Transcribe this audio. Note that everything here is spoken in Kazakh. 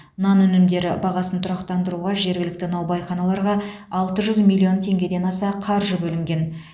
нан өнімдері бағасын тұрақтандыруға жергілікті наубайханаларға алты жүз миллион теңгеден аса қаржы бөлінген